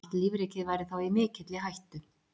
Allt lífríkið væri þá í mikilli hættu.